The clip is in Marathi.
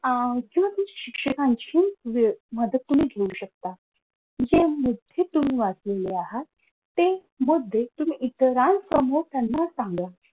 अह किंवा शिक्षकांची मदत तुम्ही घेऊ शकता. जे मुद्दे तुम्ही वाचलेले आहात. ते मुद्दे तुम्ही इतरांसमोर त्यांना सांगा.